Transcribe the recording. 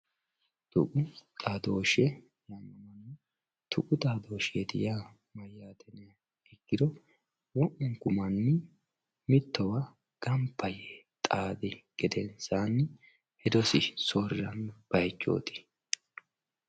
tuqu xaadoshshe tuqu xadooshsheeti yaa hiro wo'munku manni mittowa ganba yee xaade gedensaanni hedosi soorriranno bayichooti